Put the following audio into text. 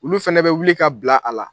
Olu fɛnɛ bɛ wuli ka bila a la.